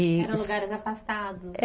E. Eram lugares afastados. Eh